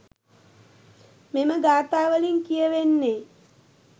මෙම ගාථා වලින් කියැවෙන්නේ